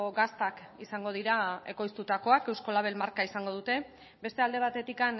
gaztak izango dira ekoiztutakoak eusko label marka izango dute beste alde batetik